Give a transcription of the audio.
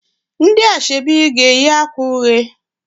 Ndị ashebi ga-eyi akwa uhie